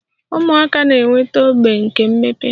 Ụmụaka na-enweta ogbo nke mmepe